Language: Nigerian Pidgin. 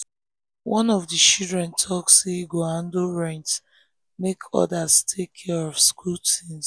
one of the children talk say e go handle rent make others take care of school things.